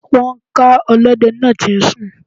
Wọn ká ọlọ́dẹ náà tí ń sùn.